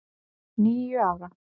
Níu ára!